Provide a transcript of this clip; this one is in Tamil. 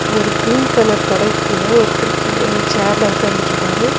ஒரு கிரீன் கலர் கொடைக்கு கீழ ஒர்த்தரு கீ சேர்ல உக்காந்துட்ருக்காரு.